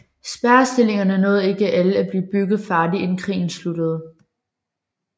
Spærrestillingerne nåede ikke alle at blive bygget færdige inden krigen sluttede